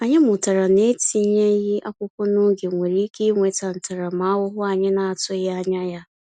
Anyị mụtara na etinyeghị akwụkwọ n’oge nwere ike iweta ntaramahụhụ anyị na-atụghị anya ya.